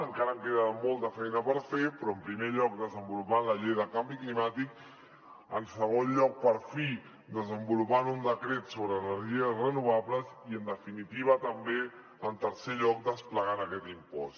encara queda molta feina per fer però en primer lloc desenvolupant la llei de canvi climàtic en segon lloc per fi desenvolupant un decret sobre energies renovables i en definitiva també en tercer lloc desplegant aquest impost